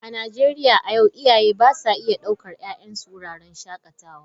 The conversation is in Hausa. A Najeriya a yau wasu iyaye ba sa iya daukar 'ya'yansu wuraren shakatawa.